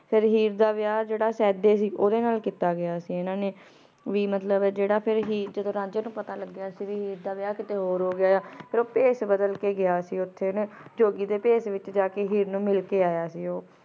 ਫੇਰ ਹੀਰ ਦਾ ਵਿਯਾਹ ਜੇਰਾ ਸੀਡੀ ਸੀ ਓਨਾਂ ਨਾਲ ਕੀਤਾ ਇਨਾਂ ਨੇ ਵੀ ਮਤਲਬ ਜੇਰਾ ਫੇਰ ਹੀਰ ਤੇ ਰਾਂਝੇ ਨੂ ਪਤਾ ਲਾਗ੍ਯ ਸੀ ਹੀਰ ਦਾ ਵਿਯਾਹ ਕਿਤੇ ਹੋਰ ਹੋ ਰਾਯ ਓ ਭੀਸ ਬਦਲ ਕੇ ਗਯਾ ਸੀ ਓਥੇ ਨਾ ਜੋਗੀ ਦੇ ਭੀਸ ਵਿਚ ਜਾ ਕੇ ਹੀਰ ਨੂ ਮਿਲ ਕੇ ਯਾ ਸੀ ਊ